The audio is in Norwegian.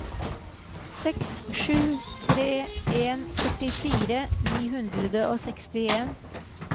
seks sju tre en førtifire ni hundre og sekstien